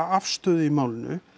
afstöðu í málinu